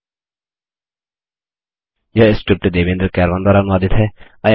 यह स्क्रिप्ट देवेन्द्र कैरवान द्वारा अनुवादित है